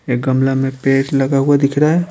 ए गमला में पेर लगा हुआ दिख रहा है।